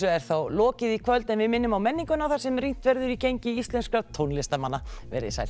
er þá lokið í kvöld við minnum á menninguna þar sem rýnt verður í gengi íslenskra tónlistarmanna verið þið sæl